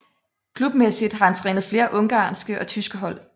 Klubmæssigt har han trænet flere ungarske og tyske hold